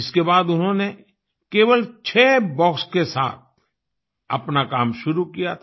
इसके बाद उन्होंने केवल छःह बॉक्स के साथ अपना काम शुरू किया था